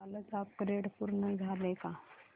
कालचं अपग्रेड पूर्ण झालंय का